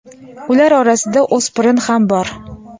Ular orasida o‘spirin ham bor.